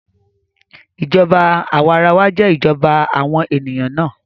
Ìjọba àwarawa jẹ́ ìjọba àwọn ènìyàn náà